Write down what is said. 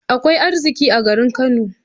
Akwai arziƙi a garin Kano.